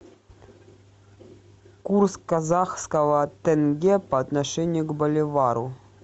курс казахского тенге по отношению к боливару